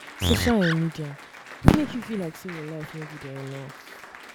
social um media fit make you feel say your life no good um enough